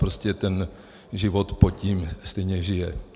Prostě ten život pod tím stejně žije.